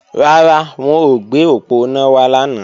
Rárá, wọn ò gbé òponá wá lánàá